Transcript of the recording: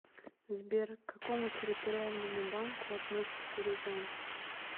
сбер к какому территориальному банку относится рязань